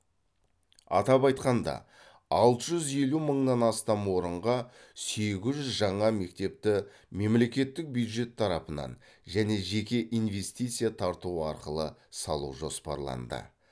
атап айтқанда алты жүз елу мыңнан астам орынға сегіз жүз жаңа мектепті мемлекеттік бюджет тарапынан және жеке инвестиция тарту арқылы салу жоспарланды